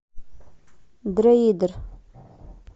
дроидер